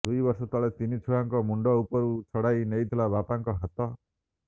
ଦୁଇ ବର୍ଷ ତଳେ ତିନି ଛୁଆଙ୍କ ମୁଣ୍ଡ ଉପରୁ ଛଡ଼ାଇ ନେଇଥିଲା ବାପାଙ୍କ ହାତ